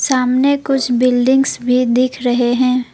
सामने कुछ बिल्डिंग्स भी दिख रहे है।